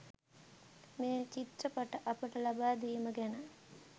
මේ චිත්‍රපට අපට ලබා දීම ගැන